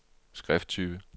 skrifttype